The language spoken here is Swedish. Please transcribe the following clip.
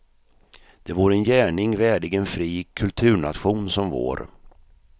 Det vore en gärning värdig en fri kulturnation som vår.